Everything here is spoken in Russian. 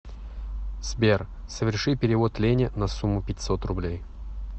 сбер соверши перевод лене на сумму пятьсот рублей